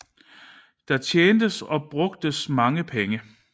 Der tjentes og brugtes mange penge